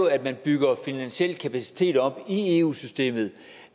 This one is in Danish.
at man bygger finansiel kapacitet op i eu systemet